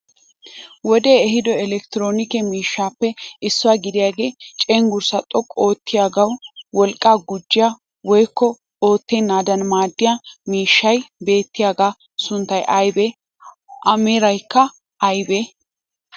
Wodee ehiido elektiroonike miishshappe issuwa gidiyagee cenggurssaa xoqqu oottiyaagawu wolqqaa gujjiyaa woyikko oottanaadan maaddiya miishshay beettiyaagaa sunttay ayibee? A meraykka ayibee?